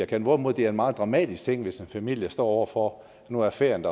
kan hvorimod det er en meget dramatisk ting hvis en familie står over for at nu er ferien